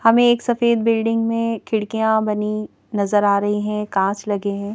हमें एक सफेद बिल्डिंग में खिड़कियां बनी नजर आ रही हैं कांच लगे हैं।